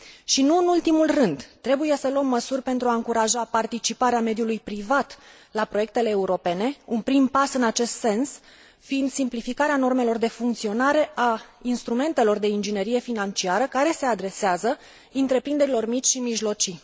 Și nu în ultimul rând, trebuie să luăm măsuri pentru a încuraja participarea mediului privat la proiectele europene, un prim pas în acest sens fiind simplificarea normelor de funcționare a instrumentelor de inginerie financiară care se adresează întreprinderilor mici și mijlocii.